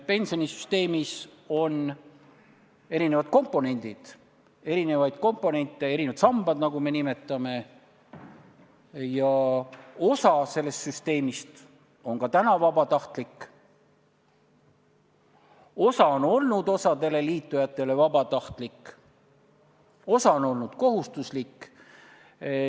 Pensionisüsteemis on erinevad komponendid, erinevad sambad, nagu me neid nimetame, ja osa sellest süsteemist on ka täna vabatahtlik, osa on olnud osale liitujatele vabatahtlik ja osa on olnud kohustuslik.